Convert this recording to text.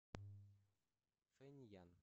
фэньян